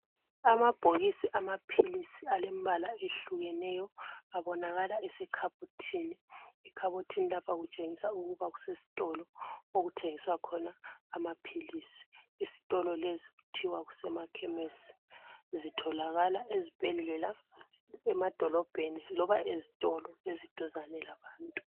Amabhokisi amaphilisi alembala ehlukeneyo abonakala ese khabothini. Ekhabothini lapha okutshengisa ukuba kuse sitolo. Okuthengiswa khona amaphilisi. Isitolo lesi kuthiwa kusema Khemesi. Zitholakala ezibhedlela, emadolobheni loba ezitolo eziduzane labantu.